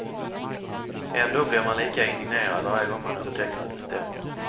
Ändå blir man lika indignerad varje gång man upptäcker att det stämmer.